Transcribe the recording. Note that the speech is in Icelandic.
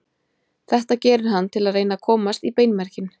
Þetta gerir hann til að reyna að komast í beinmerginn.